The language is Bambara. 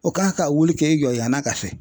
O ka ka wuli kɛ i jɔ yann'a ka se.